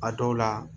A dɔw la